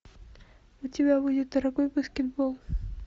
у тебя будет дорогой баскетбол